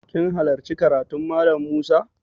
Kin hallarci karatun Mallam Musa?